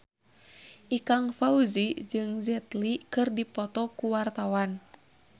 Ikang Fawzi jeung Jet Li keur dipoto ku wartawan